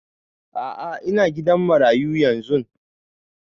A'a ina gidan marayu yanzun